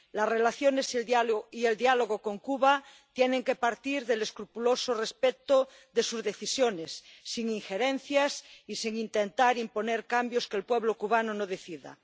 Las relaciones y el diálogo con Cuba tienen que partir del escrupuloso respeto de sus decisiones, sin injerencias y sin intentar imponer cambios que el pueblo cubano no decida.